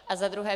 A za druhé.